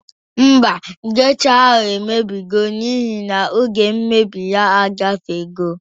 Mba, gesha ahụ emebigo mka na espayari deti ya agafego